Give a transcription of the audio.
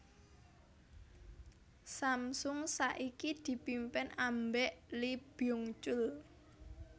Samsung saiki dipimpin ambek Lee Byung chul